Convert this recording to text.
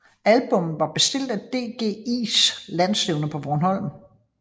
Albummet var bestilt af DGIs landsstævne på Bornholm